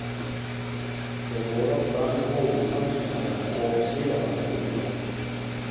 Þeir voru oft fram úr hófi samviskusamir og siðavandir í einkalífi.